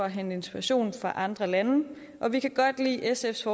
henter inspiration fra andre lande og vi kan godt lide at sfs